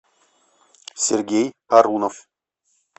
сергей арунов